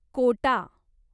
Kota